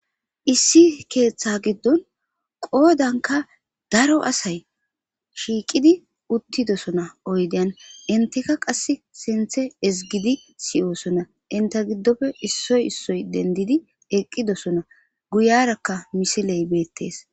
issi keeththa giddon qoodanka daro asay shiiqidi uttidosona oydeyan enteka qass sinthe ezgidi siyoosona entta giddofe issoy issoy dendidi eqqidosona guyarakka misiley beettees